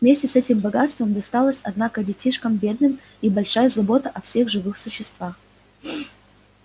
вместе с этим богатством досталось однако детишкам бедным и большая забота о всех живых существа